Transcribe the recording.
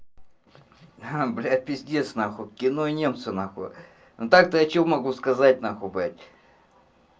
ха блядь пиздец нахуй кино и немцы нахуй ну так-то я что могу сказать нахуй блядь